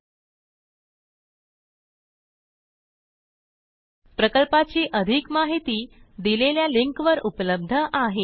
000923 000922 प्रकल्पाची अधिक माहिती दिलेल्या लिंकवर उपलब्ध आहे